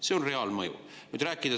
See on reaalmõju.